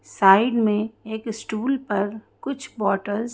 side में एक stool पर कुछ बॉटल्स --